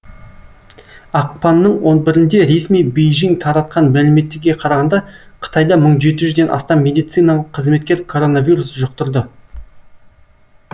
ақпанның он бірінде ресми бейжің таратқан мәліметтерге қарағанда қытайда мың жеті жүзден астам медициналық қызметкер коронавирус жұқтырды